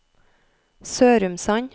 Sørumsand